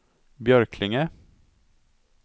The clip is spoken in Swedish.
Björklinge